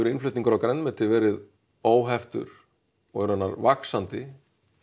innflutningur á grænmeti verið óheftur og er raunar vaxandi